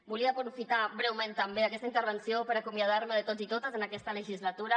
volia aprofitar breument també aquesta intervenció per acomiadar me de tots i totes en aquesta legislatura